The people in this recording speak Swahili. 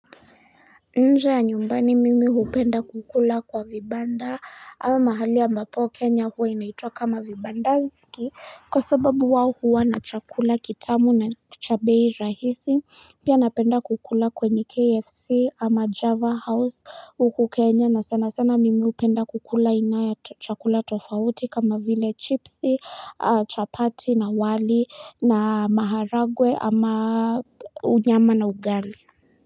Nje ya nyumbani mimi hupenda kukula kwa vibanda ama mahali ambapo kenya huwa inaitwa kama vibandaski Kwa sababu wao huwa na chakula kitamu na cha bei rahisi pia napenda kukula kwenye kfc ama java house huku kenya na sana sana mimi hupenda kukula inaya chakula tofauti kama vile chipsi chapati na wali na maharagwe ama unyama na ugali.